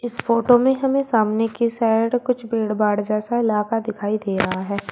इस फोटो में हमें सामने की साइड भीड़ बाढ़ जैसा इलाका दिखाई दे रहा है।